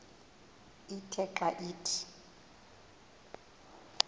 ithe xa ithi